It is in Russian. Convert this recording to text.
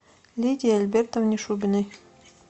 лидии альбертовне шубиной